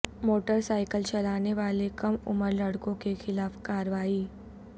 motor cycle چلانے والے کم عمر لڑکوں کے خلاف کارروائی